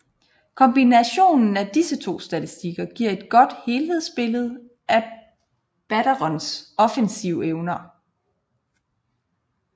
Kombinationen af disse to statistikker giver et godt helhedsbillede af batterens offensive evner